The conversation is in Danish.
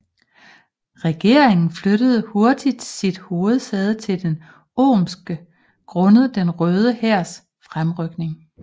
Regeringen flyttede hurtigt sit hovedsæde til Omsk grundet Den Røde Hærs fremrykning